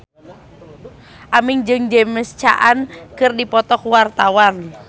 Aming jeung James Caan keur dipoto ku wartawan